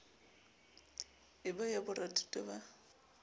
e ba ya borathuto ba